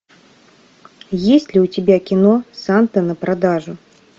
есть ли у тебя кино санта на продажу